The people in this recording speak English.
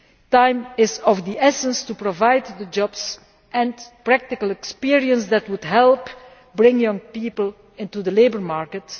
Time is of the essence to provide the jobs and practical experience that would help bring young people into the labour market.